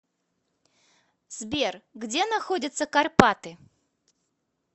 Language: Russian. сбер где находятся карпаты